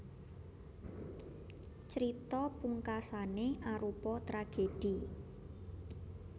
Crita pungkasané arupa tragèdhi